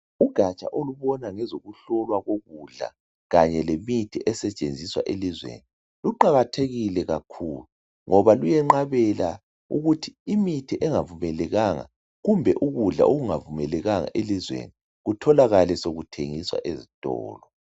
ugaja olubona ngezokuhlola ukudla kanye lemithi esetshenziswa elizweni luqhakathekile kakhulu ngoba imithi liyenqhabela ukuthi imithi enga vumelekanga kumbe ukudla okunga vumelekanga elizwenoi kutholakale sokuthengiswa ezitolo